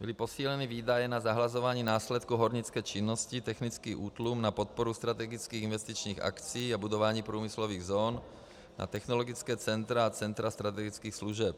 Byly posíleny výdaje na zahlazování následků hornické činnosti, technický útlum, na podporu strategických investičních akcí a budování průmyslových zón, na technologická centra a centra strategických služeb.